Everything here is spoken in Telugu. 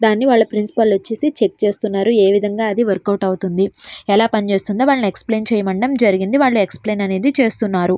దాని వాళ్ళ ప్రిన్సిపల్ వచ్చి చెక్ చేస్తున్నారు. అదే విధంగా వర్క్ అవుట్ అవుతుందని ఎలాగో చేస్తుందో అది ఎక్స్ప్లెయిన్ చేయడం అనేది జరిగింది. వాళ్ళు ఎక్సప్లైన్ చేస్తున్నారు.